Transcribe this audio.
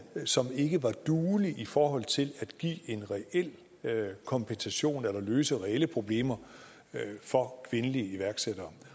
som ikke var duelig i forhold til at give en reel kompensation eller løse reelle problemer for kvindelige iværksættere